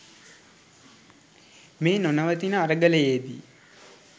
මේ නොනවතින අරගලයේ දී